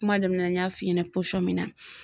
Kuma daminɛ na n y'a f'i ɲɛna pɔsɔn min na